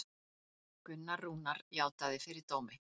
Gunnar Rúnar játaði fyrir dómi